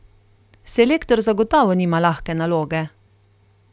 Selektor zagotovo nima lahke naloge.